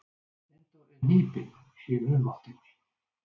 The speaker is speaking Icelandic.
Steindór er hnípinn í humáttinni.